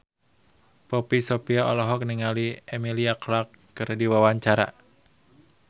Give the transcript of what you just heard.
Poppy Sovia olohok ningali Emilia Clarke keur diwawancara